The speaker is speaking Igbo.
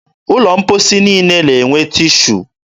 ụlọ mkposi niile na-enwe tishu.